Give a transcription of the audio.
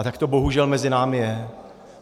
A tak to bohužel mezi námi je.